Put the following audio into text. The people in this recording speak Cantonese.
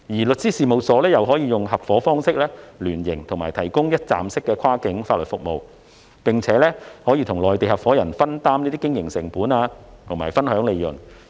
律師事務所可以合夥方式聯營，提供一站式跨境法律服務，並與內地合夥人分擔經營成本和分享利潤。